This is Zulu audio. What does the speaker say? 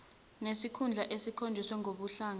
nesikhundla esikhonjiswe ngokobuhlanga